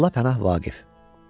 Molla Pənah Vaqif.